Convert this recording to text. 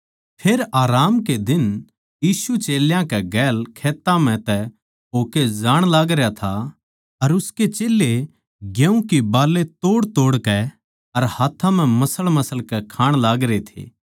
फेर आराम कै दिन यीशु चेल्यां कै गेल खेत्तां म्ह तै होकै जाण लागरया था अर उसके चेल्लें गेहूँ की बालें तोड़तोड़कै अर हाथ्थां तै मसळमसळ कै खाण लागरे थे